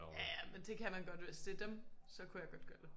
Ja ja men det kan man godt hvis det dem så kunne jeg godt gør det